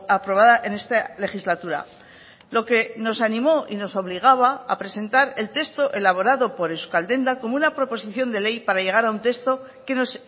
aprobada en esta legislatura lo que nos animó y nos obligaba a presentar el texto elaborado por euskaldendak como una proposición de ley para llegar a un texto que nos